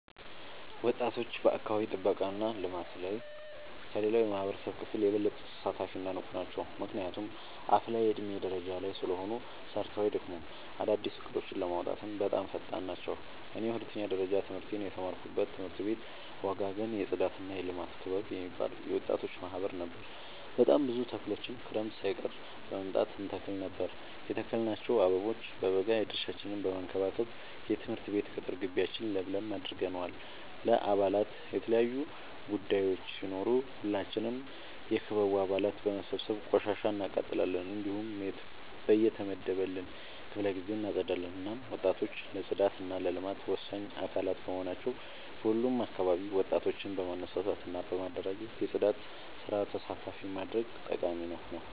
ወጣቶች በአካባቢ ጥብቃ እና ልማት ላይ ከሌላው የማህበረሰብ ክፍል የበለጠ ተሳታፊ እና ንቁ ናቸው። ምክንያቱም አፋላ የዕድሜ ደረጃ ላይ ስለሆኑ ሰርተው አይደክሙም፤ አዳዲስ እቅዶችን ለማውጣትም በጣም ፈጣን ናቸው። እኔ የሁለተኛ ደረጃ ትምህርቴን የተማርኩበት ትምህርት ቤት ወጋገን የፅዳትና የልማት ክበብ የሚባል የወጣቶች ማህበር ነበር። በጣም ብዙ ተክሎችን ክረምት ሳይቀር በመምጣ እንተክል ነበር የተከልናቸው አበቦ በበጋ የድርሻችን በመከባከብ የትምህርት ቤት ቅጥር ጊቢያችን ለምለም አድርገነዋል። ለበአላት የተለያዩ ቡዳዮች ሲኖሩ ሁላችንም የክበቡ አባላት በመሰብሰብ ቆሻሻ እናቃጥላለን። እንዲሁም በየተመደበልን ክፍለ ጊዜ እናፀዳለን። እናም ወጣቶች ለፅዳት እና ለልማት ወሳኝ አካላት በመሆናቸው በሁሉም አካባቢ ወጣቶችን በማነሳሳት እና በማደራጀት የፅዳት ስራ ተሳታፊ ማድረግ ጠቃሚ ነው።